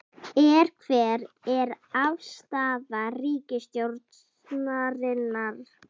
Er, hver er afstaða ríkisstjórnarinnar?